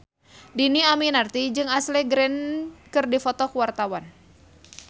Dhini Aminarti jeung Ashley Greene keur dipoto ku wartawan